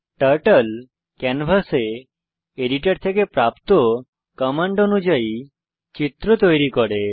turtle ক্যানভাসে editor থেকে প্রাপ্ত কমান্ড অনুযায়ী চিত্র তৈরী করে